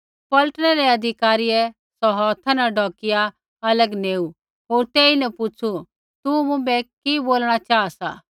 पलटनै रै अधिकारियै सौ हौथा न ढौकिया अलग नेऊ होर तेईन पुछ़ू तू मुँभै कि बोलणा चाहा सा